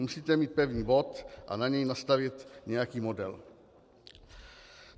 Musíte mít pevný bod a na něj nastavit nějaký model."